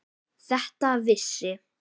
Þetta vissi